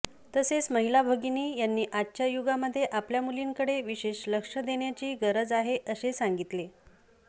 तसेच महिला भगिनी यांनी आजच्या युगामधे आपल्या मुलींकडे विशेष लक्ष देण्याची गरज आहे असे सांगितले